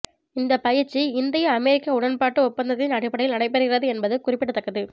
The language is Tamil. இந்த பயிற்சி இந்திய அமெரிக்க உடன்பாட்டு ஒப்பந்தத்தின் அடிப்படையில் நடைபெறுகிறது என்பது குறிப்பிடத்தக்கது